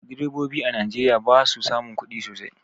Direbobi a najeriya basu samun kudi sosai